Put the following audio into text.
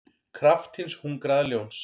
kraft hins hungraða ljóns.